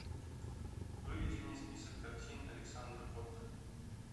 выведи мне список картин александра котта